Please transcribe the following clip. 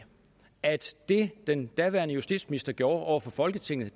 at det den daværende justitsminister gjorde over for folketinget